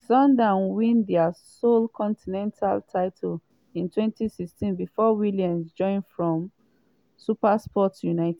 sundowns win dia sole continental title in 2016 bifor williams join from supersport united.